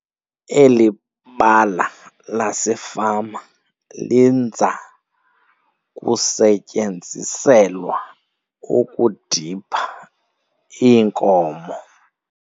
Eli bala lasefama linza kusetyenziselwa ukudipha iinkomo.